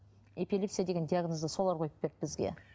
эпилепсия деген диагнозды солар қойып берді бізге